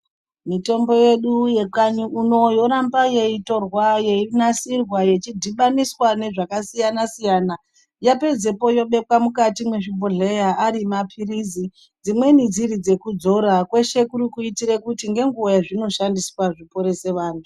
Mitombo yedu yekanyi uno yoramba yeitorwa ichinasirwa ichidhibaniswa ngezvakasiyana siyana yapedzapo yobekwa mukati mezvibhodhleya ari mapirisi kwese kuri kuitira kuti ngenguva yazvinoshandiswa zviporese vantu.